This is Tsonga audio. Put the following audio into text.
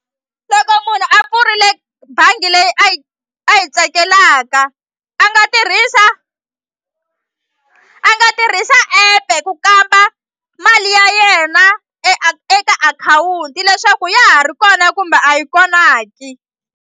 Loko munhu a pfurile bangi leyi a yi a yi tsakelaka a nga tirhisa a nga tirhisa app-e ku kamba mali ya yena eka akhawunti leswaku ya ha ri kona kumbe a yi kona ki.